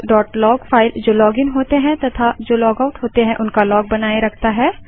auth log file जो login होते हैं तथा जो लॉगआउट होते हैं उनका लॉग बनाए रखता है